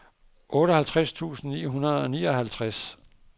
otteoghalvtreds tusind ni hundrede og nioghalvtreds